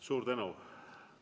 Suur tänu!